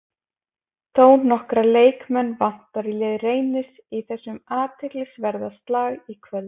Þónokkra leikmenn vantar í lið Reynis í þessum athyglisverða slag í kvöld.